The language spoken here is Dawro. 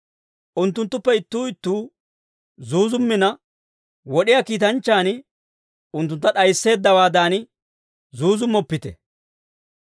Unttunttuppe ittuu ittuu zuuzummina, wod'iyaa kiitanchchaan unttuntta d'ayisseeddawaadan zuuzummoppite.